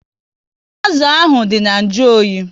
Azụ ahụ dị na nju oyi